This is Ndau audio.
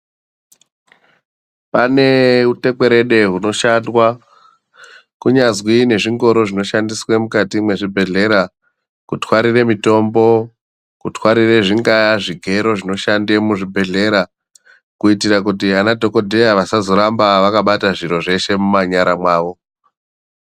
Pane hutekwerede hunoshanda kunyazi zvingoro zvinoshandiswa mukati mezvibhedhlera kutwarira mutombo kutwarira zvingava zvigero zvinoshandiswa muzvibhedhlera ana dhokodheya vasazoramba vakabata zviro zveshe mumanyara awo.